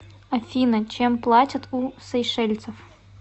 афина чем платят у сейшельцев